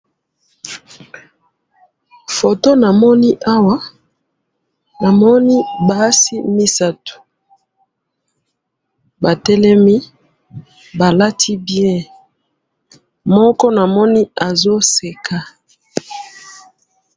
photo na moni awa na moni basi misatu ba telemi ba lati bien moko na moni azo seka